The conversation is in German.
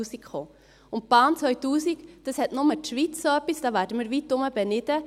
Eine Bahn 2000 hat nur die Schweiz, darum werden wir weitherum beneidet.